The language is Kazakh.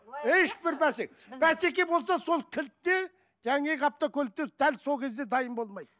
бәсеке болса сол кілт те автокөлікте дәл сол кезде дайын болмайды